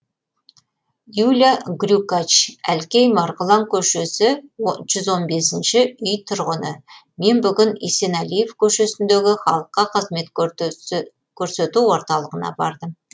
юля грюкач әлкей марғұлан көшесі жүз он бесінші үй тұрғыны мен бүгін есенәлиев көшесіндегі халыққа қызмет крсету орталығына бардым